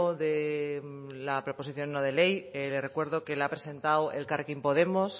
de la proposición no de ley le recuerdo que la ha presentado elkarrekin podemos